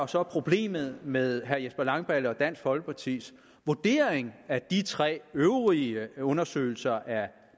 så er problemet med herre jesper langballe og dansk folkepartis vurdering af de tre øvrige undersøgelser af